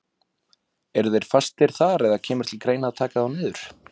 Eru þeir fastir þar eða kemur til greina að taka þá niður?